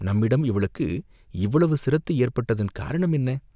நம்மிடம் இவளுக்கு இவ்வளவு சிரத்தை ஏற்பட்டதன் காரணம் என்ன?